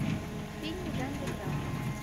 фильмы в жанре драма